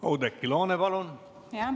Oudekki Loone, palun!